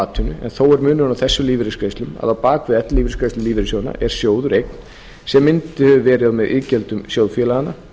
atvinnu en þó er munur á þessum lífeyrisgreiðslum að á bak við ellilífeyrisgreiðslur lífeyrissjóðanna er sjóður eign sem myndaður hefur verið með iðgjöldum sjóðfélaganna